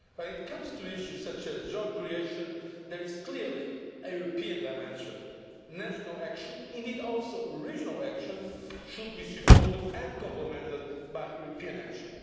When it comes to issues such as job creation, there is clearly a European dimension. National action, and indeed regional action too, should be supported and complemented by European action.